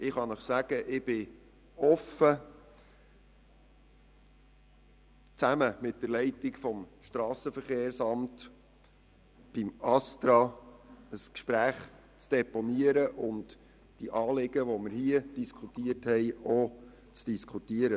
Ich bin offen dafür, zusammen mit der Leitung des SVSA mit dem ASTRA das Gespräch zu suchen und die Anliegen, die hier zur Diskussion stehen, dort auch zu deponieren.